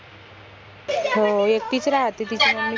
हो एकटीच राहाते तिची mummy